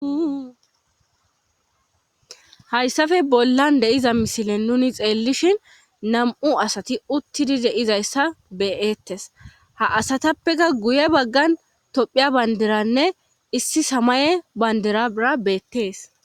hayssafe bollan de'iza misilen nuni xeellishin nam7u asati uttidi de'izayssa be'ettes ha asatappeka guye baggan tophiya banderanne issi samaye banderara beettees